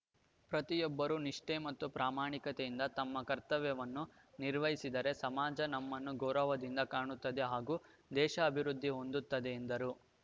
ಪ್ರತಿಯೊಬ್ಬರೂ ನಿಷ್ಠೆ ಮತ್ತು ಪ್ರಾಮಾಣಿಕತೆಯಿಂದ ತಮ್ಮ ಕರ್ತವ್ಯವನ್ನು ನಿರ್ವಹಿಸಿದರೆ ಸಮಾಜ ನಮ್ಮನ್ನು ಗೌರವದಿಂದ ಕಾಣುತ್ತದೆ ಹಾಗೂ ದೇಶ ಅಭಿವೃದ್ದಿ ಹೊಂದುತ್ತದೆ ಎಂದರು